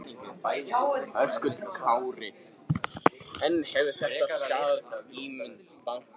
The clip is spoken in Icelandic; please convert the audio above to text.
Höskuldur Kári: En hefur þetta skaðað ímynd bankans?